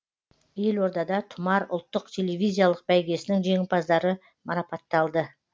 елордада тұмар ұлттық телевизиялық бәйгесінің жеңімпаздары марапатталды